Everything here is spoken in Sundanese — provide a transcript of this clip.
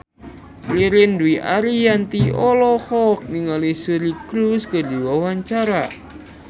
Ririn Dwi Ariyanti olohok ningali Suri Cruise keur diwawancara